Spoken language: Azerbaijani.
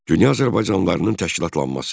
Dünya azərbaycanlılarının təşkilatlanması.